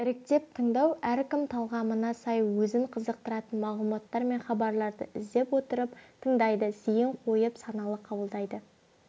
іріктеп тыңдау әркім талғамына сай өзін қызықтыратын мағлұматтар мен хабарларды іздеп отырып тыңдайды зейін қойып саналы қабылдайды